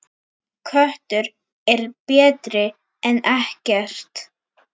Köttur er betri en ekkert.